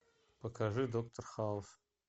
покажи доктор хаус